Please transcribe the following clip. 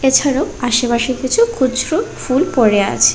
এছাড়াও আশে পাশে কিছু খুচরো ফুল পড়ে আছে।